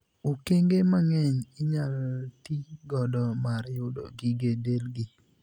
Okenge mang'eny inyal tii godo mar yudo gige delgi.